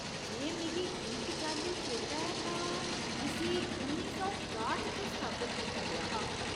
जे मिगी ठीक चाल्ली चेता ऐ तां इस्सी उन्नी सौ काठ च स्थापत कीता गेआ हा।